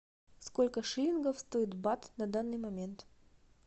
сколько шиллингов стоит бат на данный момент